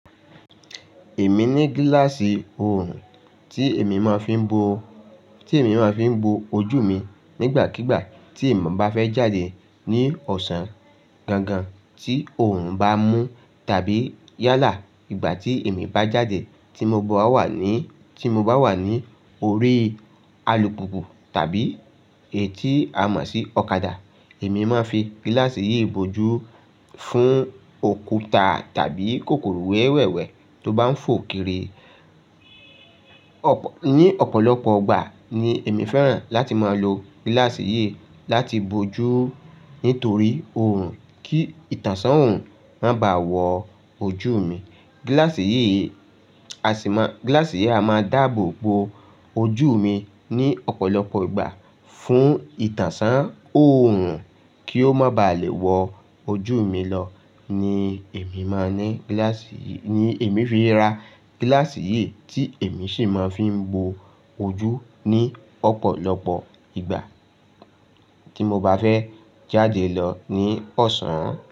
Èmi ní gíláàsì òòrùn tí èmi máa fi ń bo, tí èmi máa fi ń bo ojú mi nígbàkígbà tí mo bá fẹ́ jáde ní ọ̀sán. Gangan tí òòrùn bá mú tàbí yálà ìgbà tí èmi bá jáde tí mo bá wà ní, tí mo bá wà ní orí alùpùpù tàbí èyí tí a mọ̀ sí ọ̀kadà. Èmi máa ń fi gíláàsì yìí bo ojú fún òkúta tàbí kòkòrò wẹ́wẹ́ wẹ́wẹ́ tó bá ń fò kiri. Ọ̀pọ̀, ní ọ̀pọ̀lọpọ̀ ìgbà ni èmi fẹ́ràn láti máa lo gíláàsì yìí láti bo ojú nítorí òòrùn kí ìtànṣí òòrùn má bà wọ ojú mi. Gíláàsì yìí, gíláàsì yìí a máa dáàbò bo ojú mi ní ọ̀pọ̀lọpọ̀ ìgbà fún ìtànṣán òòrùn kí ó má bà lè wọ ojú mi lọ ni èmi máa ní gíláàsì yìí, ni èmi fi ra gíláàsì yìí tí èmi sì máa ń fi bo ojú ní ọ̀pọ̀lọpọ̀ ìgbà tí mo bá fẹ́ jáde lọ ní ọ̀sán.